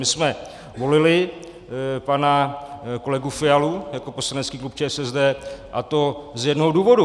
My jsme volili pana kolegu Fialu jako poslanecký klub ČSSD, a to z jednoho důvodu.